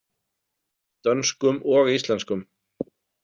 Dönskum og íslenskum.